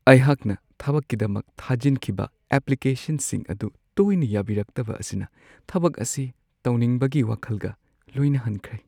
ꯑꯩꯍꯥꯛꯅ ꯊꯕꯛꯀꯤꯗꯃꯛ ꯊꯥꯖꯤꯟꯈꯤꯕ ꯑꯦꯄ꯭ꯂꯤꯀꯦꯁꯟꯁꯤꯡ ꯑꯗꯨ ꯇꯣꯏꯅ ꯌꯥꯕꯤꯔꯛꯇꯕ ꯑꯁꯤꯅ ꯊꯕꯛ ꯑꯁꯤ ꯇꯧꯅꯤꯡꯕꯒꯤ ꯋꯥꯈꯜꯒ ꯂꯣꯏꯅ ꯍꯟꯈ꯭ꯔꯦ ꯫